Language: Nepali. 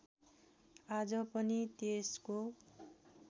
आज पनि त्यसको